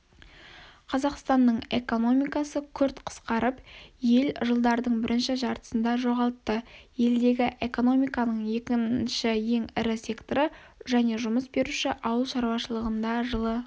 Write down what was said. қазақстанның экономикасы күрт қысқарып ел жылдардың бірінші жартысында жоғалтты елдегі экономиканың екінші ең ірі секторы және жұмыс беруші ауылшаруашылығында жылы